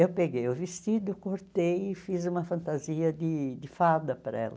Eu peguei o vestido, cortei e fiz uma fantasia de fada para ela.